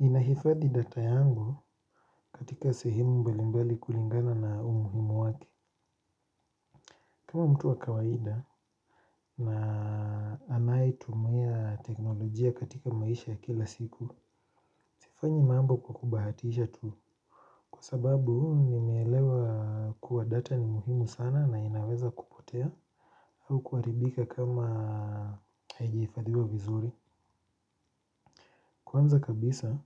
Ninahifadhi data yangu katika sehemu mbali mbali kulingana na umuhimu wake. Kama mtu wa kawaida na anayetumia teknolojia katika maisha ya kila siku, sifanyi mambo kwa kubahatisha tu. Kwa sababu, ninaelewa kuwa data ni muhimu sana na inaweza kupotea au kuharibika kama haijahifadhiwa vizuri. Kwanza kabisa,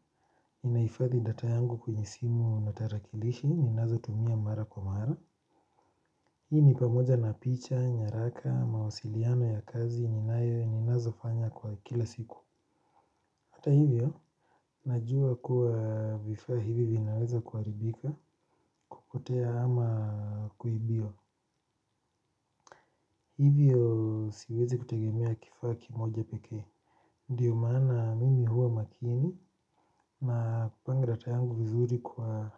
ninahifadhi data yangu kwenye simu na tarakilishi, ninazotumia mara kwa mara. Hii ni pamoja na picha, nyaraka, mawasiliano ya kazi, ninayo, ninazofanya kwa kila siku. Hata hivyo, najua kuwa vifaa hivi vinaweza kuharibika kupotea ama kuibiwa. Hivyo siwezi kutegemea kifaa kimoja pekee. Ndiyo maana mimi huwa makini na kupanga data yangu vizuri kwa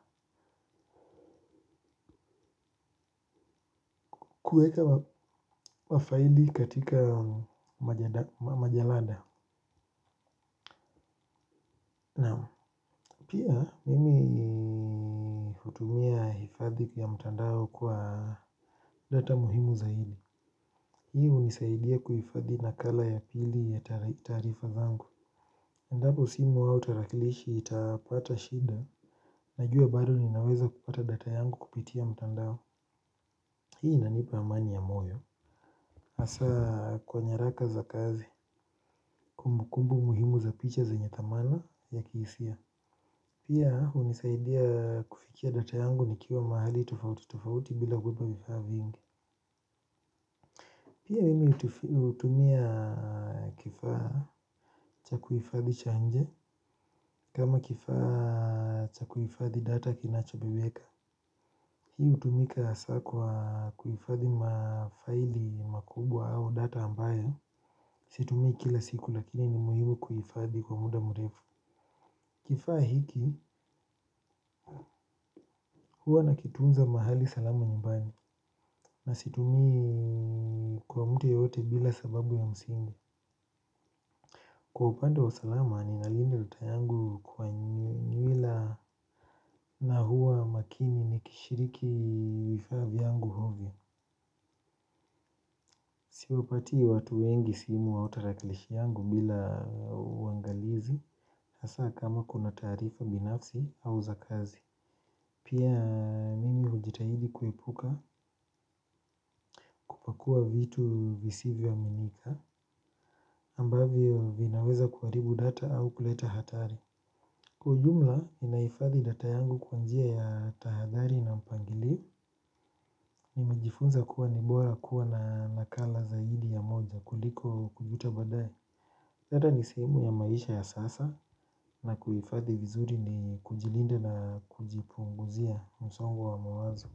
kuiweka kwa faili katika majalada. Naam. Pia mimi hutumia hifadhi vya mtandao kwa data muhimu zaidi. Hii hunisaidia kuhifadhi nakala ya pili ya taarifa zangu. Iwapo simu au tarakilishi itapata shida najua bado ninaweza kupata data yangu kupitia mtandao. Hii inanipa amani ya moyo hasaa kwa nyaraka za kazi kumbukumbu muhimu za picha zenye thamani ya kihisia. Pia hunisaidia kufikia data yangu nikiwa mahali tofauti tofauti bila kubeba vifaa vingi. Pia mimi hutumia kifaa cha kuifadhi cha nje kama kifaa cha kuifadhi data kinachoviweka. Hii hutumika hasaa kwa kuifadhi mafaili makubwa au data ambayo situmii kila siku lakini ni muhimu kuhifadhi kwa muda murefu. Kifaa hiki huwa nakitunza mahali salamu nyumbani na situmii kwa mtu yeyote bila sababu ya msingi. Kwa upande wa usalama ninalinda data yangu kwa nywila na hua makini nikishiriki vifaa vyangu ovyo. Siupatii watu wengi simu au taraklishi yangu bila uangalizi hasaa kama kuna taarifa binafsi au za kazi. Pia nimi hujitahidi kuepuka kupakua vitu visivyoaminika ambavyo vinaweza kuharibu data au kuleta hatari. Kwa ujumla ninahifadhi data yangu kwa njia ya tahadhari na mpangilio. Nimejifunza kuwa ni bora kuwa na nakala zaidi ya moja kuliko kujuta baadaye. Data ne sehemu ya maisha ya sasa na kuifadhi vizuri ni kujilinda na kujipunguzia msongo wa mawazo.